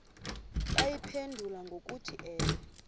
bayiphendule ngokuthi ewe